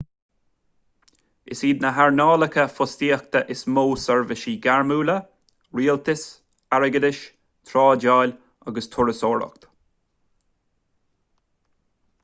is iad na hearnálacha fostaíochta is mó seirbhísí gairmiúla rialtas airgeadas trádáil agus turasóireacht